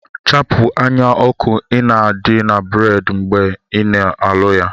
Chapu anya oku ina adi na bread gi mgbe ia aluya